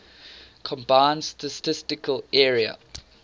combined statistical area